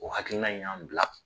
O hakilina in y'an bila